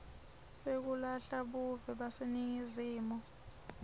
sekulahla buve baseningizimu